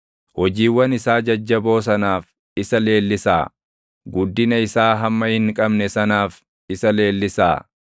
Hojiiwwan isaa jajjaboo sanaaf isa leellisaa; guddina isaa hamma hin qabne sanaaf isa leellisaa.